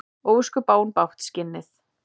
Ósköp á hún bágt, skinnið.